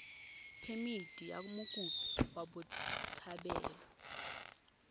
phemithi ya mokopi wa botshabelo